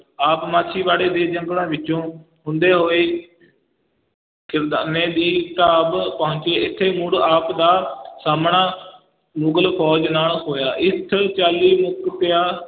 ਆਪ ਮਾਛੀਵਾੜੇ ਦੇ ਜੰਗਲਾਂ ਵਿੱਚੋਂ ਹੁੰਦੇ ਹੋਏ ਖਿਦਰਾਨੇ ਦੀ ਢਾਬ ਪਹੁੰਚੇ, ਇੱਥੇ ਮੁੜ ਆਪ ਦਾ ਸਾਹਮਣਾ ਮੁਗਲ ਫ਼ੌਜ ਨਾਲ ਹੋਇਆ, ਇਸ ਚਾਲੀ ਮੁਕਤਿਆਂ